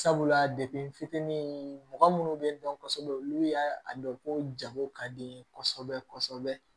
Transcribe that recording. Sabula de n fitinin mɔgɔ munnu be dɔn kosɛbɛ olu y'a dɔn ko jago ka di ye kosɛbɛ kosɛbɛ